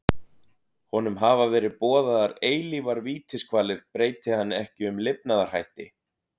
Honum hafa verið boðaðar eilífar vítiskvalir breyti hann ekki um lifnaðarhætti.